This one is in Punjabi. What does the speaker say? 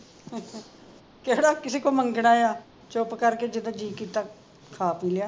ਕਿਹੜਾ ਕਿਸੇ ਮੰਗਣਾ ਆ ਚੁੱਪ ਕਰਕੇ ਜਦੋਂ ਜੀ ਕੀਤਾ ਖਾ ਪੀ ਲਿਆ